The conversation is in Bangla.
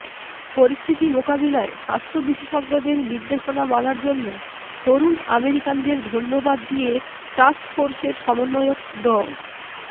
পরিস্থিতি মোকাবিলায় স্বাস্থ্য বিশেষজ্ঞদের নির্দেশনা মানার জন্য তরুণ আমেরিকানদের ধন্যবাদ দিয়ে টাস্কফোর্সের সমন্বয়ক ড